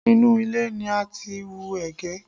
Inú ilẹ̀ ni a ti ń wú ẹ̀gẹ́